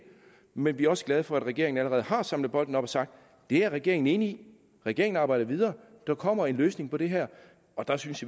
men vi er også glade for at regeringen allerede har samlet bolden op og sagt det er regeringen enig i regeringen arbejder videre der kommer en løsning på det her og der synes